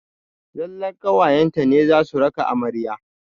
Zallar ƙawayen ta ne za su raka amarya.